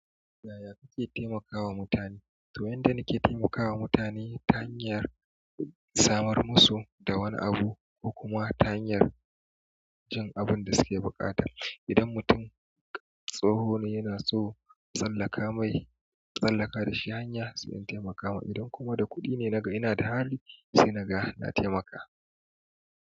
Yaya kake taimakawa mutane? To, yanda nake taimakawa mutane ta hanyar samar musu da wani abu ko kuma ta hanyar jin abunda suke buƙata. Idan mutum tsoho ne yana so tsallaka mai, na tsallaka da shi hanya sai in taimaka mai. Idan kuma da kuɗi ne naga ina da hali sai naga na taimaka.